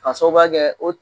Ka sobabuya kɛ o